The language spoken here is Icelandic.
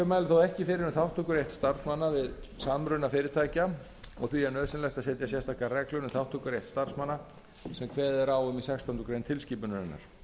þó ekki fyrir um þátttökurétt starfsmanna við samruna fyrirtækja og því er nauðsynlegt að setja sérstakar reglur um þátttökurétt starfsmanna sem kveðið er á um í sextándu grein tilskipunarinnar